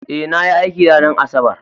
Eh nayi aikin ranar asabar